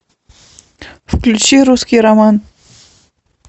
включи русский роман